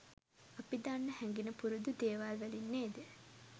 අපි දන්න හැඟෙන පුරුදු දේවල් වලින් නේද?